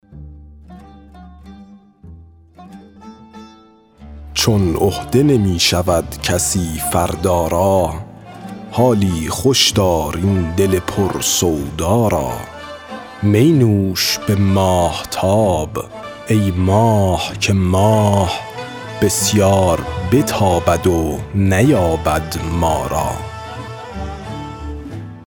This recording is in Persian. چون عهده نمی شود کسی فردا را حالی خوش دار این دل پر سودا را می نوش به ماهتاب ای ماه که ماه بسیار بتابد و نیابد ما را